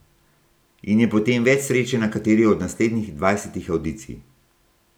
In je potem več sreče na kateri od naslednjih dvajsetih avdicij.